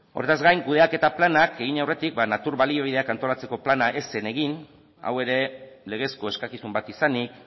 horrez gain kudeaketa planak egin aurretik natura baliabideak antolatzeko plana ez zen egin hau ere legezko eskakizun bat izanik